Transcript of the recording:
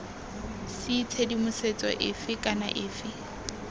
c tshedimosetso efe kana efe